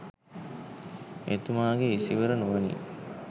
එතුමාගේ ඉසිවර නුවණින්